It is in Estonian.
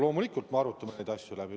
Loomulikult, me arutame need asjad läbi.